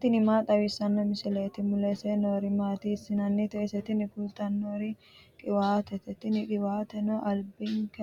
tini maa xawissanno misileeti ? mulese noori maati ? hiissinannite ise ? tini kultannori qiwaatete, tini qiwaateno albinke